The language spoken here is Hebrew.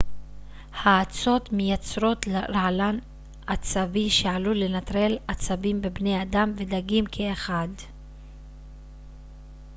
האצות מייצרות רעלן עצבי שעלול לנטרל עצבים בבני אדם ודגים כאחד